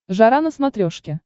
жара на смотрешке